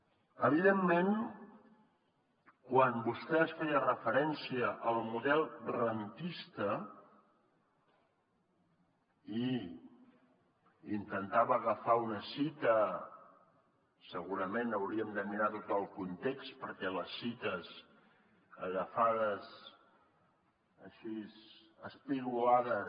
evidentment quan vostè feia referència al model rendista i intentava agafar una citació segurament hauríem de mirar tot el context perquè les citacions agafades així espigolades